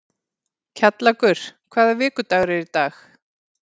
Kjallakur, hvaða vikudagur er í dag?